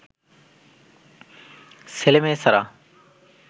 ছেলে মেয়ে ছাড়া